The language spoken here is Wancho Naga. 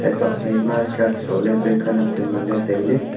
hey tuakphaI ma shirt sohle pe khanak chu ngan le taile.